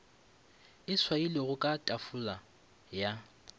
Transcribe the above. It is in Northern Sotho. e swailwego ka tafola ya